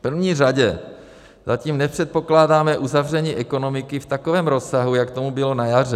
V první řadě zatím nepředpokládáme uzavření ekonomiky v takovém rozsahu, jak tomu bylo na jaře.